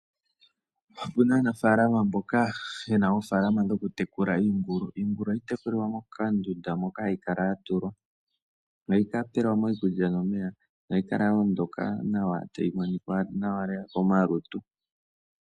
Opu na aanafaalama mboka ye na oofaalama dhoku tekula iingulu. Iingulu oha yi tekulilwa mokadunda moka hayi kala ya tulwa, noha yi pelwa mo iikulya nomeya, noha yi kala yo ondoka nawa tayi monika nawa komalutu .